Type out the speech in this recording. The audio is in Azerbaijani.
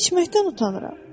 İçməkdən utanıram.